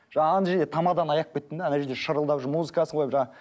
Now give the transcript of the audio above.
жаңа ана жерде тамаданы аяп кеттім де ана жерде шырылдап жүр музыкасын қойып жаңа